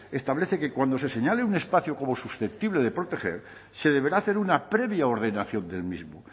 establece que cuando se señale un espacio como susceptible de proteger se deberá hacer una previa ordenación del mismo